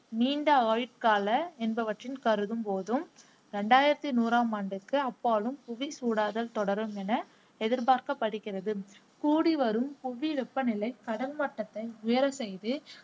நீண்ட ஆயுட்கால என்பவற்றின் கருதும் போதும் இரண்டாயிரத்தி நூறாம் ஆண்டுக்கு அப்பாலும் புவி சூடாதல் தொடரும் என எதிர்பார்க்கப்படுகிறது. கூடிவரும் புவி வெப்பநிலை கடல் மட்டத்தை உயரச் செய்து